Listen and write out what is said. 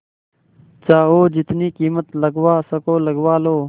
जाओ जितनी कीमत लगवा सको लगवा लो